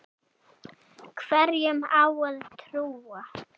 Hverjum á að trúa?